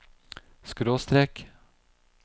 skråstrek